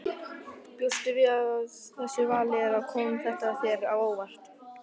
Bjóstu við þessu vali eða kom þetta þér á óvart?